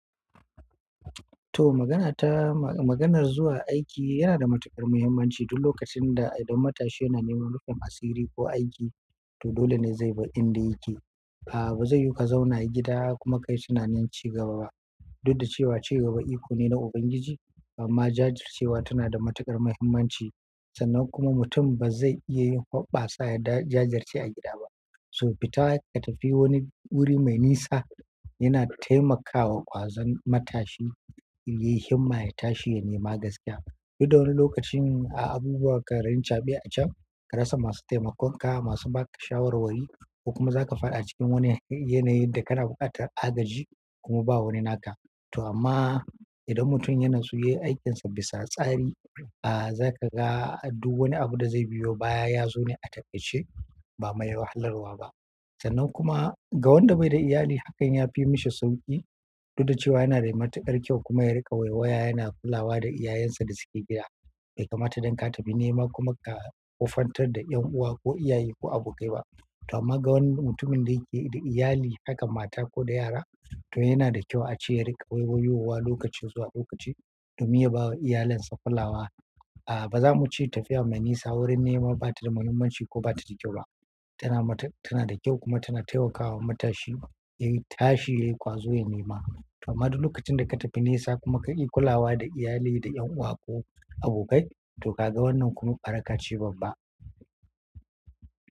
To magana ta, maganar zuwa aiki yana da matuƙar muhimmanci duk lokacin da idan matashi yana neman rufin asiri ko aiki to dole ne zai bar inda yake. A'a ba zai yu ka zauna gida kuma kayi tunanin ci gaba ba. Duk da cewa cigaba iko ne na Ubangiji amma jajircewa tana da matuƙar muhimmanci sannan kuma mutum ba zai iya yi hubbasa ya jajirce a gida ba. To fita ka tafi wani wuri mai nisa yana taimakawa ƙwazon matashi yayi himma ya tashi ya nema gaskiya. Duk da wani lokacin a abubuwa karin caɓiya acan ka rasa masu taimakon ka masu ba ka shawarwari ko kuma za ka faɗi cikin wani yanayin da kana buƙatar agaji kuma ba wani naka. To amma idan mutum ya natsu yayi aikinsa bisa tsari a za ka ga duk wani abu da zai biyo baya ya zo ne a takaice ba maye wahalarwa ba. Sannan kuma ga wanda bai da iyali hakan ya fi mishi sauƙi. Duk da cewa yana da matuƙar kyau kuma ya riƙa waywaya yana kulawa da iyayensa da suke gida. Bai kamata dan ka tafi nema kuma ka ƙofantar da ƴan'uwa ko iyaye ko abokai ba. To amma ga wani mutumin da yake da iyali hakan mata ko da yara to yana da kyau a ce ya riƙa waywayowa lokaci zuwa lokaci domin ya bawa iyalinsa kulawa. A'a ba za mu ce tafiya mai nisa wurin nema ba ta da muhimmanci ko ba ta da kyau ba. Tana mata tana da kyau kuma tana taimakawa matashi yayi tashi yayi ƙwazo ya nema. Toh amma duk lokacin da ka tafi nesa ka ki kulawa da iyali da ƴan uwa ko abokai, toh kaga wannan kuma baraka ce babba.